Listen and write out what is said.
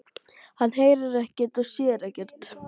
Hann heyrir ekkert og sér ekkert.